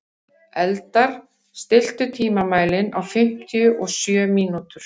Eldar, stilltu tímamælinn á fimmtíu og sjö mínútur.